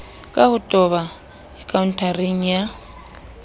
ka ho toba akhaonteng ya